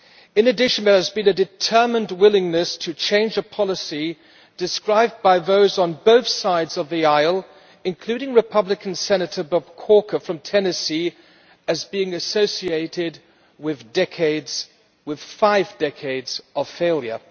In addition, there has been a determined willingness to change a policy described by those on both sides of the aisle including Republican Senator Bob Corker from Tennessee as being associated with five decades of failure.